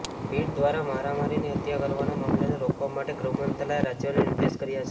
ભીડ દ્વારા મારી મારીને હત્યા કરવાના મામલાને રોકવા માટે ગૃહ મંત્રાલયે રાજ્યોને નિર્દેશ કર્યા છે